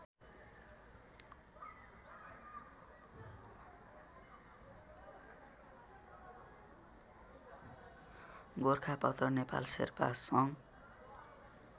गोरखापत्र नेपाल शेर्पा सङ्घ